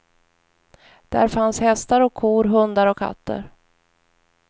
Där fanns hästar och kor, hundar och katter.